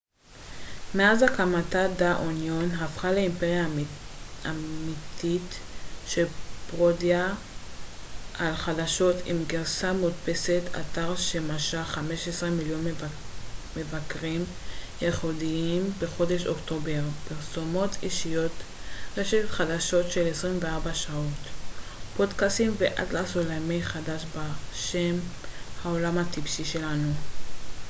"מאז הקמתה "דה אוניון" הפכה לאימפריה אמתית של פרודיה על חדשות עם גרסה מודפסת אתר שמשך 5,000,000 מבקרים ייחודיים בחודש אוקטובר פרסומות אישיות רשת חדשות של 24 שעות פודקאסטים ואטלס עולמי חדש בשם "העולם הטיפשי שלנו"".